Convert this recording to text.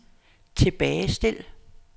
tilbagestil